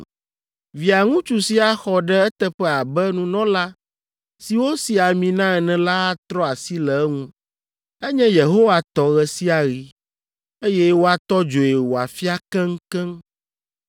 Via ŋutsu si axɔ ɖe eteƒe abe nunɔla si wosi ami na ene la atrɔ asi le eŋu. Enye Yehowa tɔ ɣe sia ɣi, eye woatɔ dzoe wòafia keŋkeŋ.